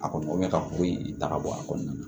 A kɔni ka kuru in ta ka bɔ a kɔnɔna na